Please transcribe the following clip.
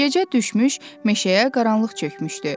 Gecə düşmüş, meşəyə qaranlıq çökmüşdü.